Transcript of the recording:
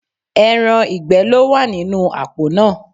Ẹran ìgbẹ́ ló wà nínú àpò náà